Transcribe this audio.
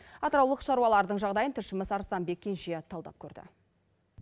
атыраулық шаруалардың жағдайын тілшіміз арыстанбек кенже талдап көрді